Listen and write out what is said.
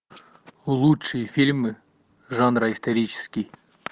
лучшие фильмы жанра исторический